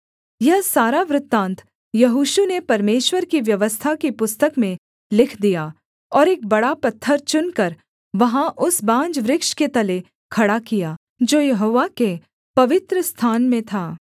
यह सारा वृत्तान्त यहोशू ने परमेश्वर की व्यवस्था की पुस्तक में लिख दिया और एक बड़ा पत्थर चुनकर वहाँ उस बांज वृक्ष के तले खड़ा किया जो यहोवा के पवित्रस्थान में था